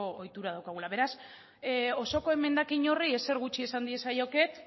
ohitura daukagula beraz osoko emendakin horri ezer gutxi esan diezaioket